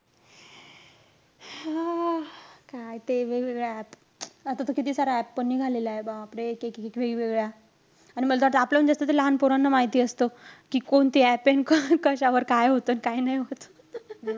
आ! काय ते वेगवेगळे app आता तर किती सारे app पण निघालेलेय. बापरे! एक-एक वेगवेगळे app. आणि मल त वाटतं आपल्याहून जास्त, ते लहान पोरांना माहिती असतं. कि कोणते app हे अन कशावर काय होतं, काय नाई होत.